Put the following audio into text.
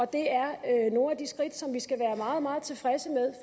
det er nogle skridt som vi skal være meget meget tilfredse med